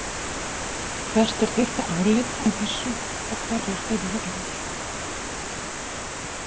Hvert er þitt álit á þessu og hverjar eru reglurnar?